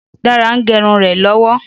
Dáre ń gérun rè lọ́wọ́